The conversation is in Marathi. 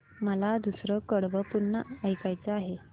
मला दुसरं कडवं पुन्हा ऐकायचं आहे